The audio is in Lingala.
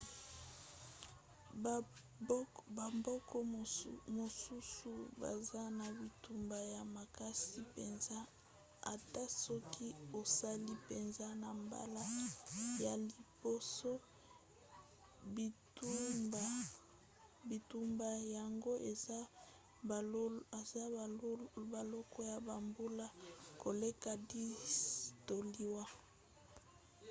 bamboka mosusu baza na bitumba ya makasi mpenza ata soki osali mpenza na mbala ya liboso; bitumba yango eza boloko ya bambula koleka 10 to liwa